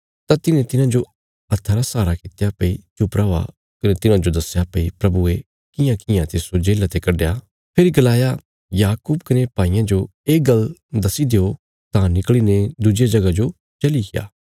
तां तिन्हें तिन्हांजो हत्था रा सहारा कित्या भई चुप रौआ कने तिन्हांजो दस्या भई प्रभुये कियांकियां तिस्सो जेल्ला ते कड्डया फेरी गलाया याकूब कने भाईयां जो ये गल्ल दस्सी देयों तां निकल़ीने दुज्जिया जगह जो चलिग्या